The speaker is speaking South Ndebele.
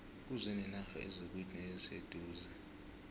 kuze nenarha ezikude neziseduze